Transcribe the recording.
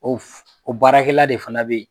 O f o baarakɛla de fana be ye.